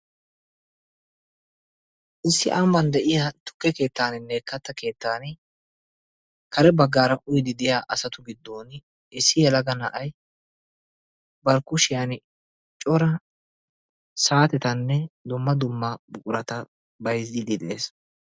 Issi ambban de'iya tukke keettaaninne katta keettan kare baggaara uyiiddi de'iya asatu gidduwan issi yelaga na'ay bari kushiyan cora saatetanne dumma dumma buqurata bayzziiddi de'ees.